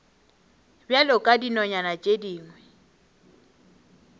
bjalo ka dinonyana tše dingwe